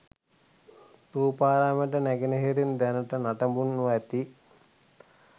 ථූපාරාමයට නැගෙනහිරින් දැනට නටබුන්ව ඇති